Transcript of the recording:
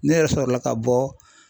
Ne yɛrɛ sɔrɔla ka bɔ